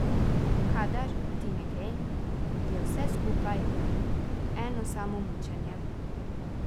Kadar ti ne gre, je vse skupaj eno samo mučenje.